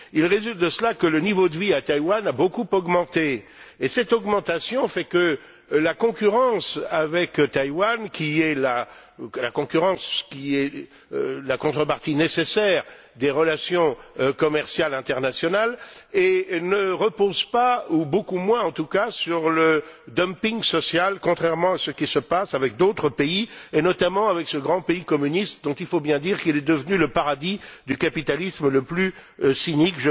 Il résulte de cela que le niveau de vie à Taïwan a beaucoup augmenté, et cette augmentation fait que la concurrence avec Taïwan, qui est la contrepartie nécessaire des relations commerciales internationales, ne repose pas, ou beaucoup moins en tout cas, sur le dumping social, contrairement à ce qui se passe avec d'autres pays et, notamment, avec ce grand pays communiste dont il faut bien dire qu'il est devenu le paradis du capitalisme le plus cynique.